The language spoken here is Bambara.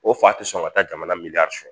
O fa tɛ sɔn ka taa jamana sɔn